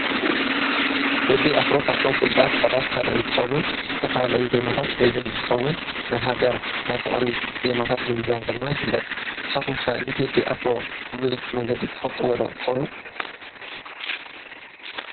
ቴዲ ኣፍሮ ካብቶም ፍሉጣት ሰባት እንትኸውን ዝተፈላለዩ ዜማታት ዘዝም እንትኸውን ናይ ሃገር፣ ናይ ፍቕሪ ዜማታት ብምዛም ድማ ይፍለጥ፡፡ ንስኻትኩም ከ ንቴዲ ኣፍሮ ብብዙሕ መንገዲ ትፈልጥዎ ዶ ትኾኑ?